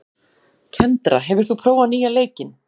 Kendra, hefur þú prófað nýja leikinn?